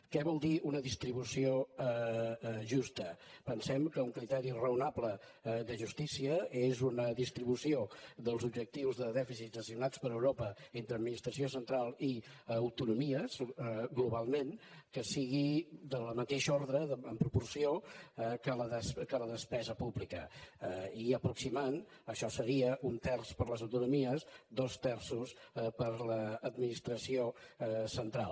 què vol dir una distribució justa pensem que un criteri raonable de justícia és una distribució dels objectius de dèficit assignats per europa entre administració central i autonomies globalment que sigui del mateix ordre en proporció que la despesa pública i aproximant això seria un terç per a les autonomies dos terços per a l’administració central